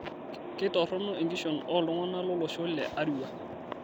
Kitorrono enkishon oo ltung'ana lo losho le Arua